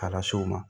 K'a las'o ma